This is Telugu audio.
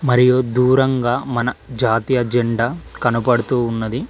మరియు దూరంగా మన జాతీయ జెండా కనబడుతూ ఉన్నది.